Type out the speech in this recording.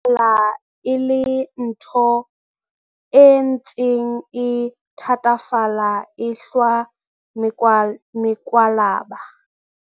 Temo e bonahala e le ntho e ntseng e thatafala, e ehlwa mekwalaba.